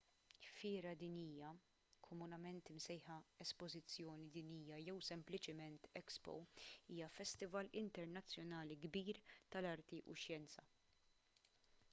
fiera dinjija komunement imsejħa espożizzjoni dinjija jew sempliċement expo” hija festival internazzjonali kbir tal-arti u x-xjenzi